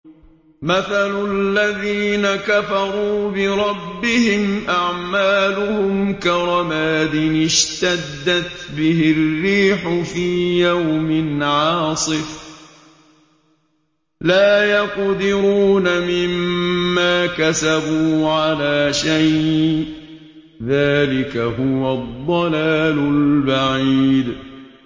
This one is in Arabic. مَّثَلُ الَّذِينَ كَفَرُوا بِرَبِّهِمْ ۖ أَعْمَالُهُمْ كَرَمَادٍ اشْتَدَّتْ بِهِ الرِّيحُ فِي يَوْمٍ عَاصِفٍ ۖ لَّا يَقْدِرُونَ مِمَّا كَسَبُوا عَلَىٰ شَيْءٍ ۚ ذَٰلِكَ هُوَ الضَّلَالُ الْبَعِيدُ